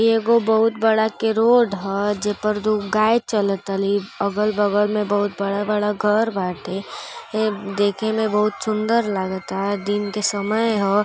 एगो बहुत बड़ा के रोड ह जे पर दूगो गाय चलतली। अगल बगल में बहुत बड़ा बड़ा घर बाटे। एं देखे में बहुत सुंदर लागता। दिन के समय ह।